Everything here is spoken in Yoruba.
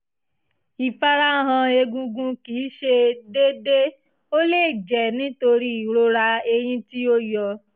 ìfarahàn egungun kì í ṣe déédé ó lè jẹ́ nítorí ìrora eyín tí o yọ